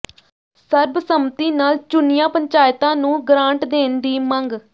ਸਰਬਸੰਮਤੀ ਨਾਲ ਚੁਣੀਆਂ ਪੰਚਾਇਤਾਂ ਨੂੰ ਗਰਾਂਟ ਦੇਣ ਦੀ ਮੰਗ